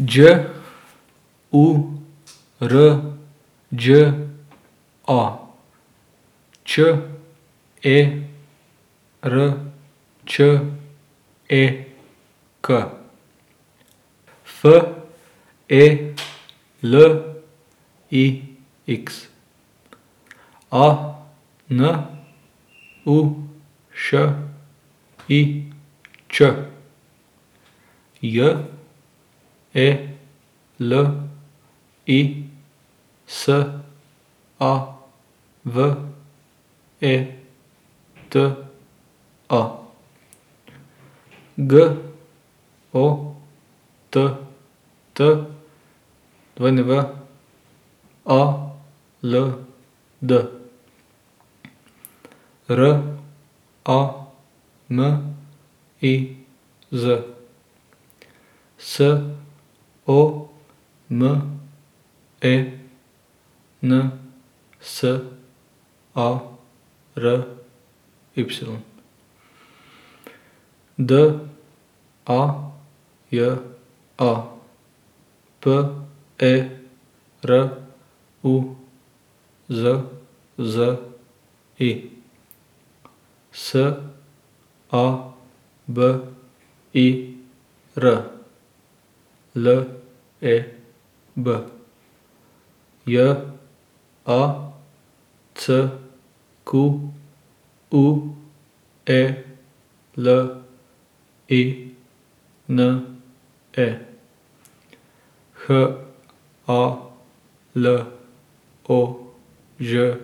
Đ U R Đ A, Č E R Č E K; F E L I X, A N U Š I Ć; J E L I S A V E T A, G O T T W A L D; R A M I Z, S O M E N S A R Y; D A J A, P E R U Z Z I; S A B I R, L E B; J A C Q U E L I N E, H A L O Ž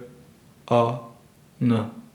A N.